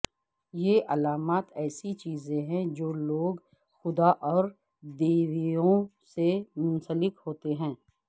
یہ علامات ایسی چیزیں ہیں جو لوگ خدا اور دیویوں سے منسلک ہوتے ہیں